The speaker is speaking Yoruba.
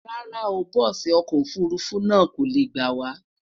rárá o, bùsi ọkọ ofurufu náà kole gbawa